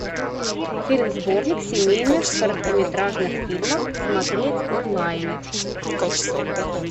фильм сборник семейных короткометражных фильмов смотреть онлайн